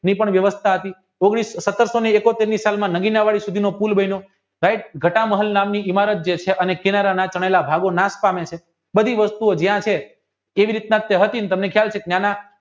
જે પણ વ્યવસ્થા હતી સત્તરસો સો ને એકોતેરમી સલમા નવીન પુલ બન્યો બધી વસ્તુઓ જ્યાં છે જેવી રીતના હતી ને તમને ખ્યાલ છે કે ન્યાંના